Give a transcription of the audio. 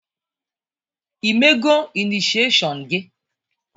I mego inisieshon gị?